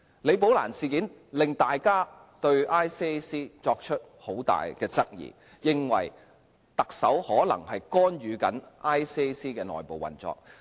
"李寶蘭事件"令大家對廉政公署作出很大質疑，認為特首可能干預廉政公署的內部運作。